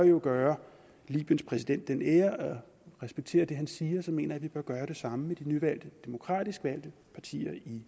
gøre libyens præsident den ære at respektere det han siger mener jeg at vi bør gøre det samme med de nyvalgte demokratisk valgte partier i